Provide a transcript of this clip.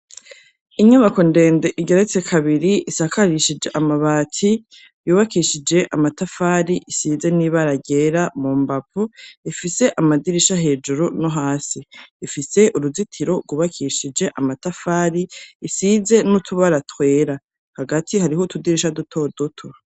Inyubako ndende, igeretse kabiri, isakarishije amabati, yubakishije amatafari ,isize n'ibara ryera mu mbavu, ifise amadirisha hejuru no hasi; ifise uruzitiro gwubakishije amatafari, isize n'utubara twera; hagati hariho utudirisha dutodoto.